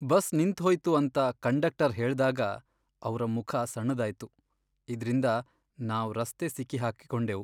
Bus ನಿಂತ್ ಹೊಯ್ತು ಅಂತ ಕಂಡಕ್ಟರ್ ಹೇಳ್ದಾಗ ಅವ್ರ ಮುಖ ಸಣ್ಣದಾಯ್ತು, ಇದ್ರಿಂದ ನಾವ್ ರಸ್ತೆ ಸಿಕ್ಕಿ ಹಾಕಿಕೊಂಡೆವು.